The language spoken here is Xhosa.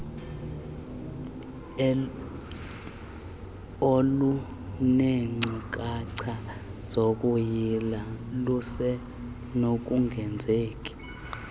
olunenkcukacha zokuyila lusenokungenzeki